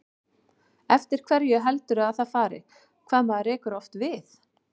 Eftir hverju heldurðu að það fari, hvað maður rekur oft við?